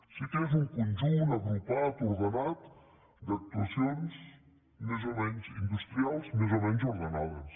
sí que és un conjunt agrupat ordenat d’actuacions més o menys industrials més o menys ordenades